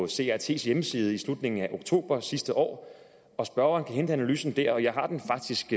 crts hjemmeside i slutningen af oktober sidste år og spørgeren kan hente analysen der jeg har den faktisk